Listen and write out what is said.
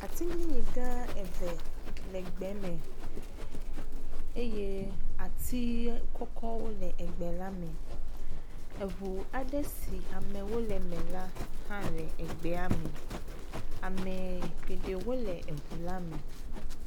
Atiglinyi gã eve le gbe me eye ati kɔkɔwo le gbe la me. Ŋu aɖe si amewo le me la le gbea me. Ame geɖewo le ŋu la me.